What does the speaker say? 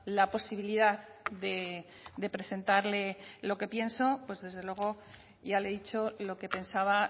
la posibilidad de presentarle lo que pienso pues desde luego ya le he dicho lo que pensaba